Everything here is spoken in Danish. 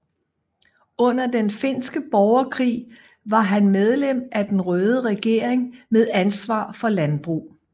Under den finske borgerkrig var han medlem af den røde regering med ansvar for landbrug